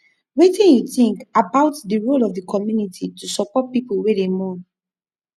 wetin you think about di role of di community to support people wey dey mourn